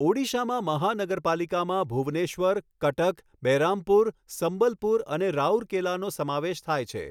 ઓડિશામાં મહાનગરપાલિકામાં ભુવનેશ્વર, કટક, બેરહામપુર, સંબલપુર અને રાઉરકેલાનો સમાવેશ થાય છે.